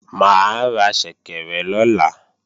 Mà á ra ṣẹ̀kẹ̀rẹ̀ lọ̀la